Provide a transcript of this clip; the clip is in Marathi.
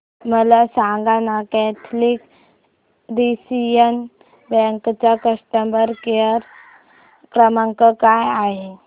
मला सांगाना कॅथलिक सीरियन बँक चा कस्टमर केअर क्रमांक काय आहे